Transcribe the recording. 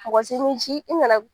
Mɔgɔ si m'i ci i nana